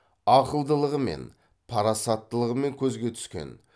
ақылдылығымен парасаттылығымен көзге түскен